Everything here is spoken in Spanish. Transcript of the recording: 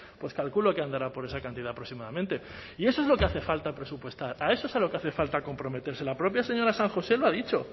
pues calculo que andará por esa cantidad aproximadamente y eso es lo que hace falta presupuestar a eso es a lo que hace falta comprometerse la propia señora san josé lo ha dicho